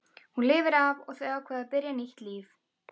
Hún lifir af og þau ákveða að byrja nýtt líf.